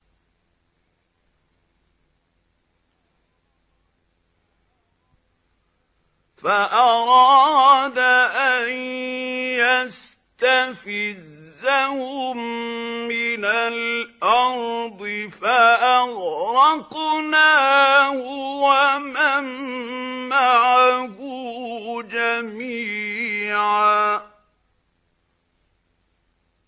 فَأَرَادَ أَن يَسْتَفِزَّهُم مِّنَ الْأَرْضِ فَأَغْرَقْنَاهُ وَمَن مَّعَهُ جَمِيعًا